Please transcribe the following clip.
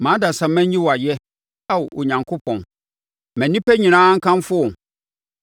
Ma adasamma nyi wo ayɛ, Ao Onyankopɔn; ma nnipa nyinaa nkamfo wo.